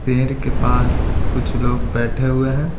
पेड़ के पास कुछ लोग बैठे हुए हैं।